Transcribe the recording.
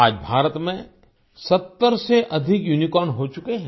आज भारत में 70 से अधिक यूनिकॉर्न्स हो चुके हैं